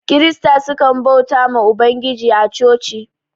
kirista sukan bautawa ma ubangijin a chochi